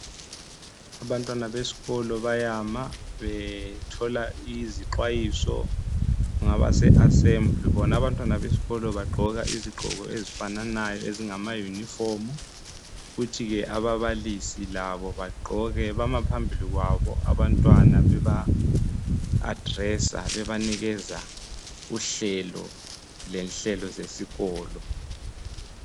Abantwana beskolo bayama bethola izixwayiso ngabase assembly. Bona abantwana besikolo bagqoka izigqoko ezifananayo ezingama uniform kuthi ke ababalisi labo bagqoke. Bama phambili kwabo abantwana beba adresser bebanikeza uhlelo lenhlelo zesikolo.